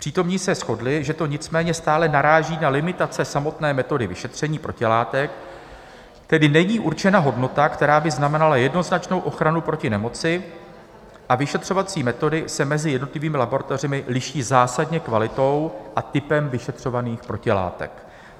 Přítomní se shodli, že to nicméně stále naráží na limitace samotné metody vyšetření protilátek, tedy není určena hodnota, která by znamenala jednoznačnou ochranu proti nemoci, a vyšetřovací metody se mezi jednotlivými laboratořemi liší zásadně kvalitou a typem vyšetřovaných protilátek.